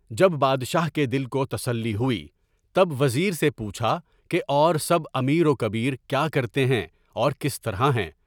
جب بادشاہ کے دل کو تسلی ہوئی، تب وزیر سے پوچھا کہ اور سب امیر وکبیر کیا کرتے ہیں اور کس طرح ہیں؟